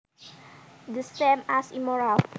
The same as immoral